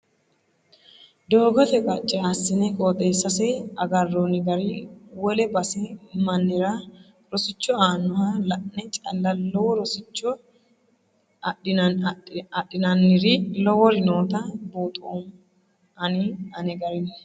Doogote qacce assine qooxeessase agaroni gari wole base mannira rosicho aanoho la'ne calla lowo rosicho adhinanniri lowori nootta buuxoommo ani ane garini.